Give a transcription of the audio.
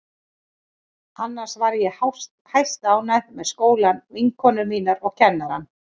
Annars var ég hæstánægð með skólann, vinkonur mínar og kennarana.